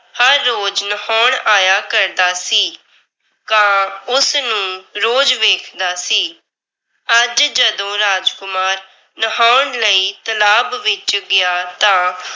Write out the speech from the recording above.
ਹਰ ਰੋਜ ਨਹਾਉਣ ਆਇਆ ਕਰਦਾ ਸੀ। ਕਾਂ ਉਸ ਨੂੰ ਰੋਜ਼ ਵੇਖਦਾ ਸੀ। ਅੱਜ ਜਦੋਂ ਰਾਜਕੁਮਾਰ ਨਹਾਉਣ ਲਈ ਤਲਾਬ ਵਿੱਚ ਗਿਆ ਤਾਂ